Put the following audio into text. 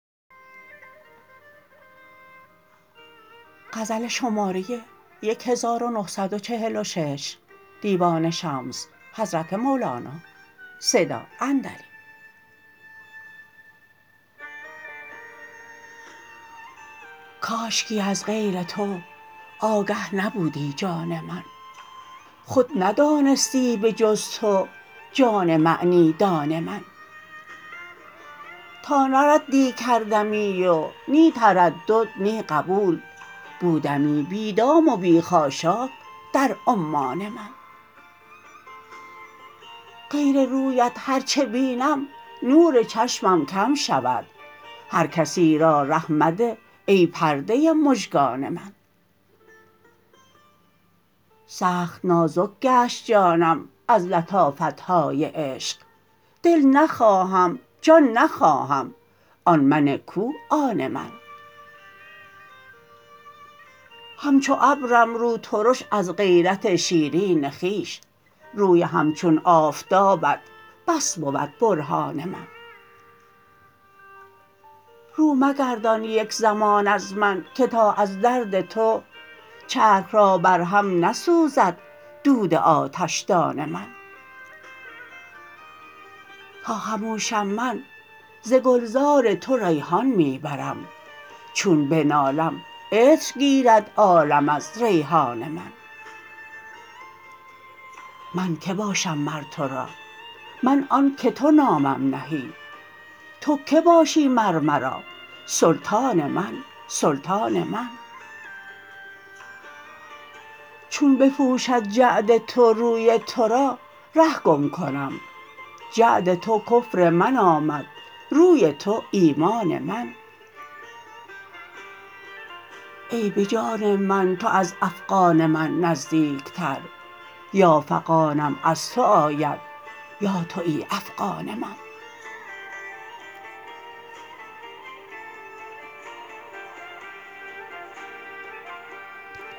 کاشکی از غیر تو آگه نبودی جان من خود ندانستی به جز تو جان معنی دان من تا نه ردی کردمی و نی تردد نی قبول بودمی بی دام و بی خاشاک در عمان من غیر رویت هر چه بینم نور چشمم کم شود هر کسی را ره مده ای پرده مژگان من سخت نازک گشت جانم از لطافت های عشق دل نخواهم جان نخواهم آن من کو آن من همچو ابرم روترش از غیرت شیرین خویش روی همچون آفتابت بس بود برهان من رو مگردان یک زمان از من که تا از درد تو چرخ را بر هم نسوزد دود آتشدان من تا خموشم من ز گلزار تو ریحان می برم چون بنالم عطر گیرد عالم از ریحان من من که باشم مر تو را من آنک تو نامم نهی تو کی باشی مر مرا سلطان من سلطان من چون بپوشد جعد تو روی تو را ره گم کنم جعد تو کفر من آمد روی تو ایمان من ای به جان من تو از افغان من نزدیکتر یا فغانم از تو آید یا توی افغان من